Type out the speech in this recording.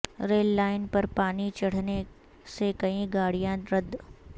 rail line پر پانی چڑھنے سے کئی گاڑیاں رد